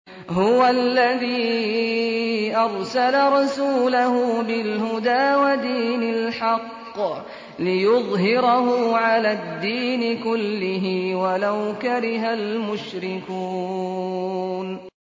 هُوَ الَّذِي أَرْسَلَ رَسُولَهُ بِالْهُدَىٰ وَدِينِ الْحَقِّ لِيُظْهِرَهُ عَلَى الدِّينِ كُلِّهِ وَلَوْ كَرِهَ الْمُشْرِكُونَ